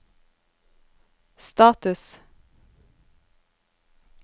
status